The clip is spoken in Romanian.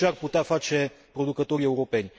Ce ar putea face producătorii europeni?